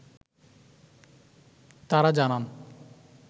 তারা জানান